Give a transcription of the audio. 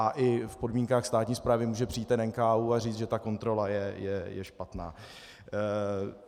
A i v podmínkách státní správy může přijít NKÚ a říct, že ta kontrola je špatná.